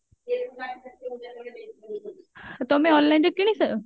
ତମେ online ରେ କିଣିଛ?